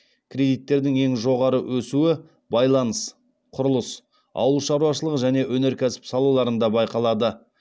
кредиттердің ең жоғары өсуі байланыс құрылыс ауыл шаруашылығы және өнеркәсіп салаларында байқалады